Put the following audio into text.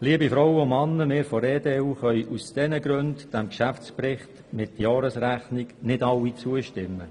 Liebe Frauen und Männer, wir von der EDU können aus diesen Gründen diesem Geschäftsbericht mit Jahresrechnung nicht alle zustimmen.